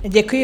Děkuji.